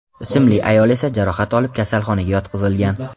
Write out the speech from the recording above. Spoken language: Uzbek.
ismli ayol esa jarohat olib kasalxonaga yotqizilgan.